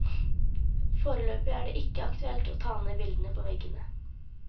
Foreløpig er det ikke aktuelt å ta ned bildene på veggene.